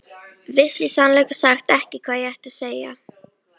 Vissi í sannleika sagt ekki hvað ég átti að segja.